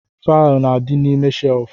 Faịlụ na-adi n'ime shelfu